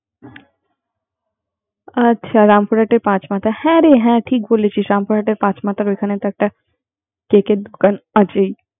ও রামপুরাতে পাচমাথাহ্যারে হ্যা ঠিক বলেছিসরামপুরাতে পাঁচমাথার ওখান একটা কেকের দোকান আছেই